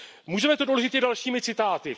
Můžeme to doložit i dalšími citáty.